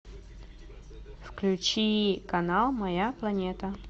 включи канал моя планета